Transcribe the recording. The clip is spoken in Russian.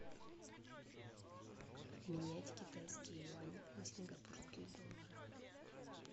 обменять китайские юани на сингапурские доллары